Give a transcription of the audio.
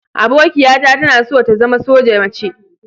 Abokiata tana so ta zama soja mace.